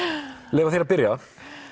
leyfa þér að byrja